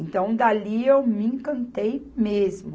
Então, dali eu me encantei mesmo.